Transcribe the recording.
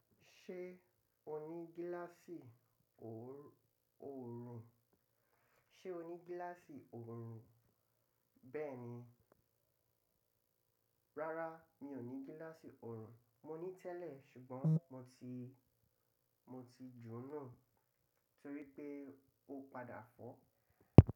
Ṣé o ní gíláàsì oòrùn? Ṣé o ní gíláàsì oòrùn? Bẹ́ẹ̀ni. Rárá, mi ò ní gíláàsì oòrùn. Mo ní tẹ́lẹ̀ ṣùgbọ́n mo ti, mo ti jóná torí pé ó padà fọ́.